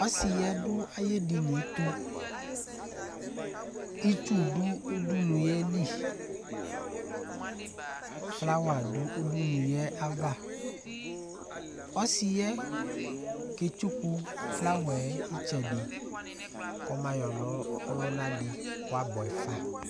Ɔsi yɛ du ayʋ edini yɛ tu Itsu du ʋdʋnu ye li Flower du ʋdʋnu ye ayʋ ava Ɔsi yɛ ketsʋku flower yɛ itsɛdi kɔma yɔ na ɔluna di kʋ abʋɛ fa